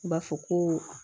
N b'a fɔ ko